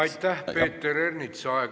Aitäh, Peeter Ernits!